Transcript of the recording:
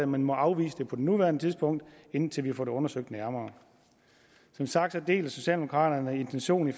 men må afvise det på nuværende tidspunkt indtil vi får det undersøgt nærmere som sagt deler socialdemokraterne intentionen i